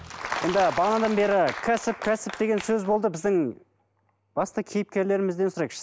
енді бағанадан бері кәсіп кәсіп деген сөз болды біздің басты кейіпкерлерімізден сұрайықшы